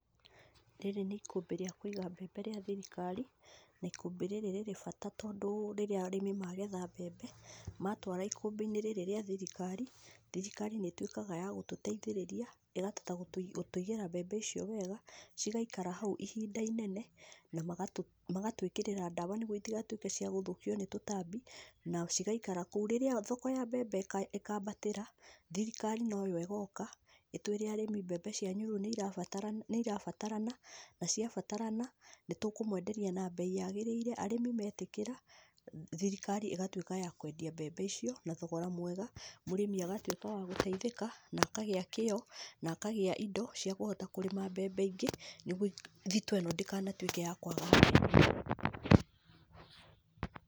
Rĩrĩ nĩ ikũmbĩ rĩa kũiga mbembe rĩa thirikari , na ikũmbĩ rĩrĩ rĩrĩ bata tondũ rĩrĩa arĩmi magetha mbembe, matwara ikũmbĩ-inĩ rĩa thirikari, thirikari nĩ ĩtwĩkaga ya gũgũteithĩrĩria ĩkahota gũtũigĩra mbembe icio wega, cigaikara hau ihinda inene na magatwĩkĩrĩra ndawa nĩgwo itigatwĩke cia kũrĩo nĩ tũtambi, na cigaikara kũu, rĩrĩa thoko ya mbembe ĩkambatĩra thirikari noyo ĩgoka, ĩtwĩre arĩmi rĩu mbembe cianyu nĩ irabatara nĩ irabatarana , na cia batarana nĩtũkũmwenderia na mbei yagĩrĩire , arĩmi metĩkĩra thirikari ĩgatwĩka ya kwendia mbembe icio na thogora mwega, mũrĩmi agatwĩka wa gũteithĩka na akagĩa kĩo , na akagia indo cia kũhota kũrĩma mbembe ingĩ nĩgwo thitoo ĩno ndĩgatwĩke ya kuaga mbembe.